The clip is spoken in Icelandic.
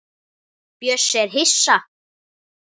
Bjössi er hissa.